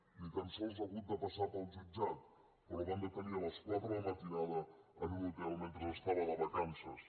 ni tan sols ha hagut de passar pel jutjat però el van detenir a les quatre de la matinada en un hotel mentre estava de vacances